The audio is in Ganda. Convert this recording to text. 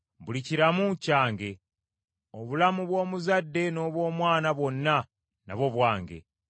Buli kiramu, kyange; obulamu bw’omuzadde n’obw’omwana bwonna nabwo bwange.